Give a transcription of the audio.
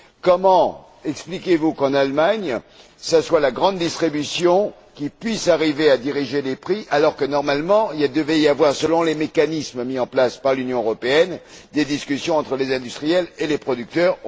Comment expliquez vous le fait qu'en Allemagne, ce soit la grande distribution qui puisse arriver à diriger les prix alors que, normalement, il devait y avoir, selon les mécanismes mis en place par l'Union européenne, des discussions entre les industriels et les producteurs.